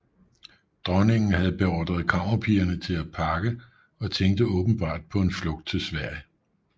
Dronningen havde beordret kammerpigerne til at pakke og tænkte åbenbart på en flugt til Sverige